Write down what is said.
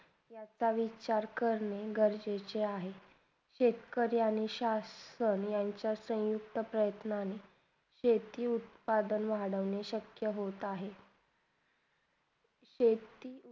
आता विचार करने गरजेचे आहे शेतकरी आणि संसाधनयांचा सयुक्त प्रयत्न्नी शेती उत्पादन वाढवण्याचे मशक्य होत आहे शेती